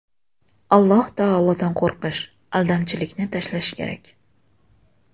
Alloh taolodan qo‘rqish, aldamchilikni tashlash kerak.